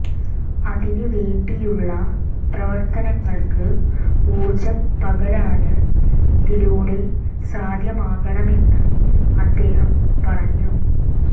അതിന് വേണ്ടിയുള്ള പ്രവര്ത്തനങ്ങള്ക്ക് ഊര്ജ്ജം പകരാന് ഇതിലൂടെ സാധ്യമാകണമെന്ന് അദ്ദേഹം പറഞ്ഞു